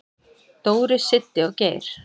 """Dóri, Siddi og Geir."""